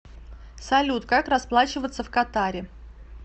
салют как расплачиваться в катаре